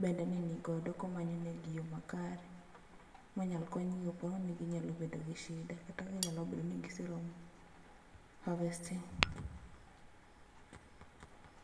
bende ni nigodo komanyonegi yoo makare minyal konygi go ponono ni ginyalo bedo gi shida kata ginyalo bedo ni giseromo harvesting